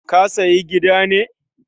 Ka siya gida ne?